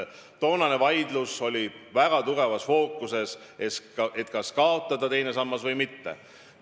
Toonases vaidluses oli väga tugevasti fookuses, kas kaotada teine sammas või mitte.